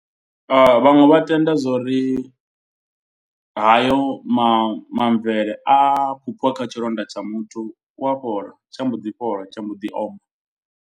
Vhaṅwe vha tenda zwori hayo mamvele a vhupfiwa kha tshilonda tsha muthu u a fhola tsha mbo ḓi fhola tsha mboḓi oma.